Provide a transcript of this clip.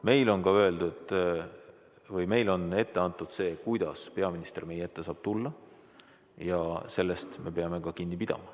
Meile on ette antud see, kuidas peaminister meie ette saab tulla, ja sellest me peame kinni pidama.